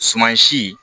Suman si